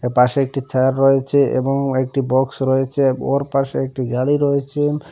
এপাশে একটি চেয়ার রয়েচে এবং ও একটি বক্স রয়েচে ওর পাশে একটি গাড়ি রয়েচে।